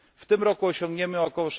W tym roku osiągniemy ok.